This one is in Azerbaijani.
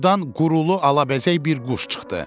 Ordan qurulu alabəzək bir quş çıxdı.